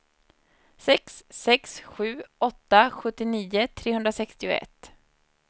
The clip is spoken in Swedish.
sex sex sju åtta sjuttionio trehundrasextioett